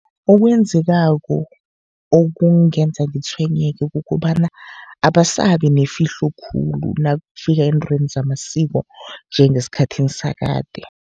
Okwenzekako okungenza ngitshwenyeke, kukobana abasabi nefihlo khulu nakufika eentweni zamasiko njengesikhathini sakade.